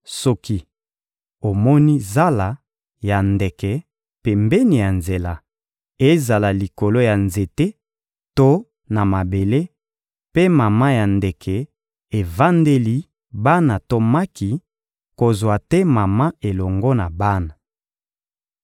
Soki omoni zala ya ndeke pembeni ya nzela, ezala likolo ya nzete to na mabele, mpe mama ya ndeke evandeli bana to maki, kozwa te mama elongo na bana.